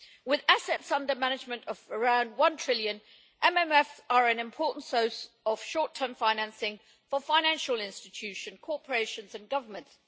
With assets under management of around EUR 1 trillion, MMFs are an important source of short term financing for financial institutions, corporations and governments.